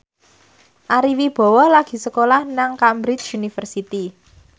Ari Wibowo lagi sekolah nang Cambridge University